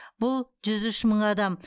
бұл жүз үш мың адам